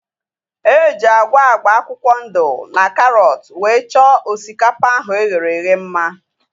Eji agwa agba akwụkwọ ndụ na karọt wee chọọ osikapa ahu eghere eghe mma